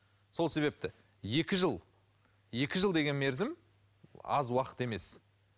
сол себепті екі жыл екі жыл деген мерзім аз уақыт емес